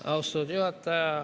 Austatud juhataja!